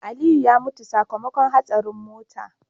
Aliyu ya mutu sakamakon hatsarin mota